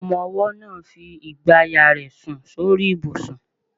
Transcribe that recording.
Ọmọ-ọwọ́ náà ń fi igbàyà rẹ̀ sùn sórí ibùsùn náà